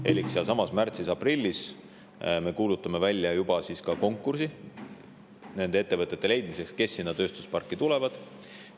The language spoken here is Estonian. Elik sealsamas märtsis-aprillis me kuulutame välja juba konkursi nende ettevõtete leidmiseks, kes sinna tööstusparki tulevad.